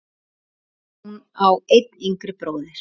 Hún á einn yngri bróður.